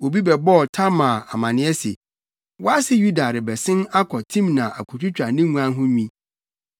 Obi bɛbɔɔ Tamar amanneɛ se, “Wʼase Yuda rebɛsen akɔ Timna akotwitwa ne nguan ho nwi.”